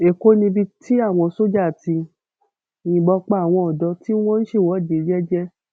ẹkọ níbi tí àwọn sójà ti yìnbọn pa àwọn ọdọ tí wọn ń ṣèwọde jẹjẹ